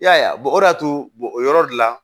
I y'a ye o de y'a to o yɔrɔ de la